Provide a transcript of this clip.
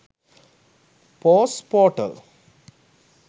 post portal